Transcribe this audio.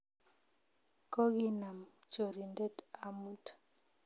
Koginam chorindet amut